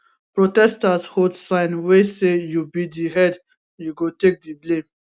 protesters hold sign wey say you be di head you go take di blame